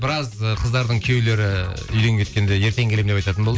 біраз ы қыздардың күйеулері үйден кеткенде ертең келемін деп айтатын болды